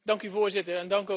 Dank u, Voorzitter.